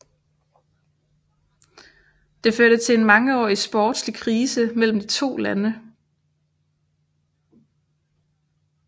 Det førte til en mangeårig sportslig krise mellem de to lande